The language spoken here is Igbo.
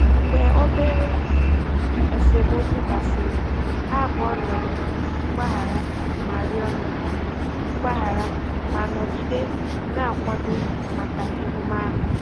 Mgbe obere esemokwu gasịrị, ha abụọ rịọrọ mgbaghara ma rịọrọ mgbaghara ma nọgide na-akwado maka emume ahụ.